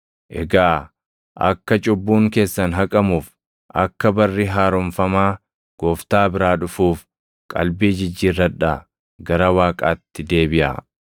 Egaa akka cubbuun keessan haqamuuf, akka barri haaromfamaa Gooftaa biraa dhufuuf qalbii jijjiirradhaa gara Waaqaatti deebiʼaa;